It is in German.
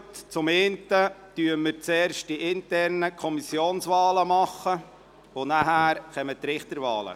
Zuerst nehmen wir die internen Kommissionswahlen vor, nachher die Richterwahlen.